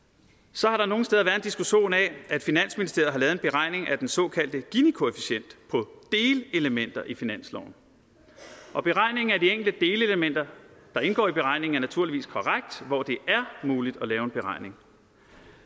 så har der nogle steder diskussion af at finansministeriet en beregning af den såkaldte ginikoefficient på delelementer i finansloven og beregningen af de enkelte delelementer der indgår i beregningen er naturligvis korrekt hvor det er muligt at lave en beregning